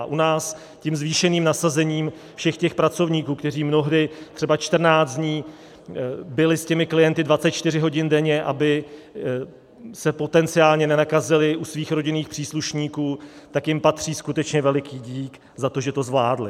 A u nás tím zvýšeným nasazením všech těch pracovníků, kteří mnohdy třeba 14 dní byli s těmi klienty 24 hodin denně, aby se potenciálně nenakazili u svých rodinných příslušníků, tak jim patří skutečně veliký dík za to, že to zvládli.